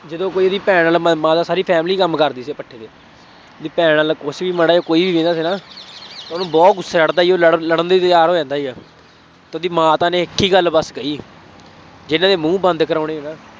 ਜਦੋਂ ਕੋਈ ਇਹਦੀ ਭੈਣ ਵੱਲ ਮਾਤਾ ਮਾਤਾ ਸਾਰੀ family ਕੰਮ ਕਰਦੀ ਸੀ ਭੱਠੇ ਤੇ ਇਹਦੀ ਭੈਣ ਵੱਲ ਕੁੱਛ ਵੀ ਮਾੜਾ ਜਿਹਾ ਕੋਈ ਵਹਿੰਦਾ ਸੀ ਨਾ, ਉਹਨੂੰ ਬਹੁਤ ਗੁੱਸਾ ਚੜ੍ਹਦਾ ਸੀ, ਉਹ ਲੜਨ ਲੜਨ ਲਈ ਤਿਆਰ ਹੋ ਜਾਂਦਾ ਸੀਗਾ। ਉਹਦੀ ਮਾਤਾ ਨੇ ਇੱਕ ਹੀ ਗੱਲ ਬੱਸ ਕਹੀ ਜਿੰਨਾ ਦੇ ਮੂੰਹ ਬੰਦ ਕਰਾਉਣੇ ਨਾ